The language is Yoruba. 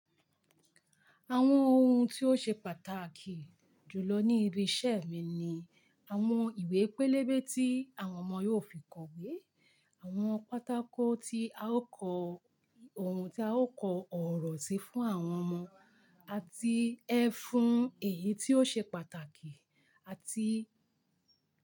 Àwọn ohun tí ó ṣe pàtàkì jù lọ ní ibi iṣẹ́ mi ni àwọn ìwé pélébé tí àwọn ọmọ yóò fi kọ̀wé, àwọn pátákó tí a ó kọ ohun tí a ó kọ ọ̀rọ̀ sí fún àwọn ọmọ àti ẹfun èyí tí ó ṣe pàtàkì àti.